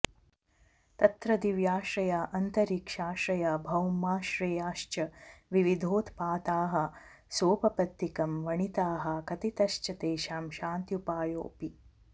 तत्र दिव्याश्रया अन्तरिक्षाश्रया भौमाश्रेयाश्च विविधोत्पाताः सोपपत्तिकं वणिताः कथितश्च तेषां शान्त्युपायोऽपि